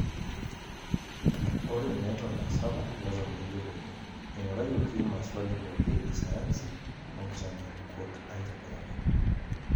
Ore neton aasapuk neton meyioloi, eingurayioki maswali pookin e sayansi onkitanyaanyukot aitobiraki.